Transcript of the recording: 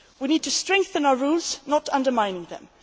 term. We need to strengthen our rules, not to undermine